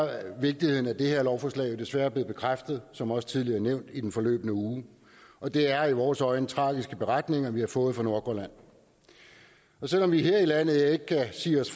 vigtigheden af det her lovforslag jo desværre blevet bekræftet som også tidligere nævnt i den forløbne uge og det er i vores øjne tragiske beretninger vi har fået fra nordgrønland selv om vi her i landet ikke kan sige os